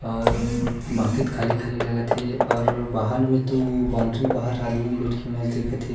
और बाकि तो खाली-खाली लगत हे और बाहर में तो बाउंड्री बाहर आदमी मन बइठ के मैच देखत हे।